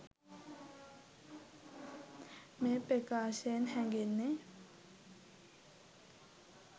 මේ ප්‍රකාශයෙන් හැඟෙන්නේ